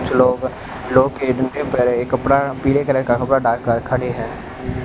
कुछ लोग एक कपड़ा पीले कलर का कपड़ा डाल कर खड़े हैं।